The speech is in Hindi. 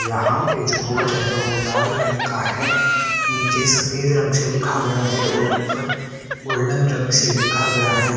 यहां पे जो बोर्ड है वो लाल रंग का है नीचे सफेद रंग से लिखा गया है और ऊपर गोल्डन रंग से लिखा गया है।